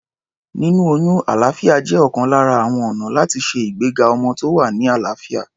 Níní oyún alàáfíà jẹ́ ọ̀kan lára àwọn ọ̀nà láti ṣe ìgbéga ọmọ tó wà ní àlàáfíà.